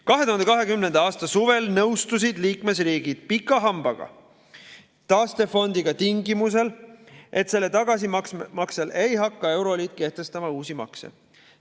2020. aasta suvel nõustusid liikmesriigid pika hambaga taastefondiga tingimusel, et tagasimaksjale ei hakka euroliit kehtestama uusi makse.